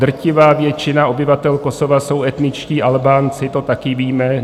Drtivá většina obyvatel Kosova jsou etničtí Albánci, to taky víme.